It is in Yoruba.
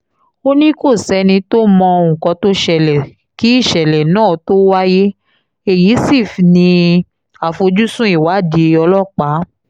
ó ní kò sẹ́ni tó mọ nǹkan tó ṣẹlẹ̀ kí ìṣẹ̀lẹ̀ náà tóó wáyé èyí sí ní àfojúsùn ìwádìí ọlọ́pàá